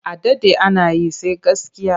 A daɗe ana yi, sai gaskiya.